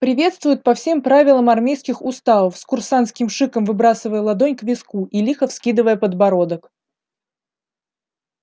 приветствуют по всем правилам армейских уставов с курсантским шиком выбрасывая ладонь к виску и лихо вскидывая подбородок